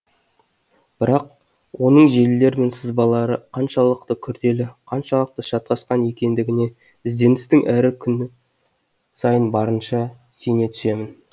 бірақ оның желілері мен сызбалары қаншалықты күрделі қаншалықты шатасқан екендігіне ізденістің әр күні сайын барынша сене түсемін